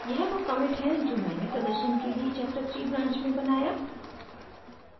यह वो commit है जो मैंने प्रदर्शन के लिए chapterthree branch में बनाया